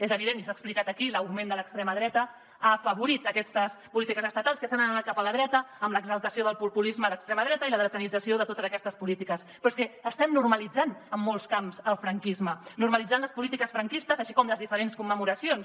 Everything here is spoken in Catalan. és evident i s’ha explicat aquí l’augment de l’extrema dreta ha afavorit aquestes polítiques estatals que se n’han anat cap a la dreta amb l’exaltació del populisme d’extrema dreta i la dretanització de totes aquestes polítiques però és que estem normalitzant en molts camps el franquisme normalitzant les polítiques franquistes així com les diferents commemoracions